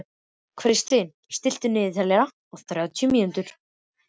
Kristvin, stilltu niðurteljara á þrjátíu mínútur.